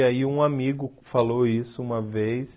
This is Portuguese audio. E aí um amigo falou isso uma vez.